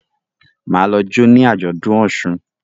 Ma lọ jo ní Ajọdun òsùn